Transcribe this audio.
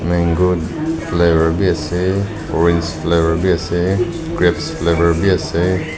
mango flavour bi ase orange flavour bi ase grapes flavour bi ase.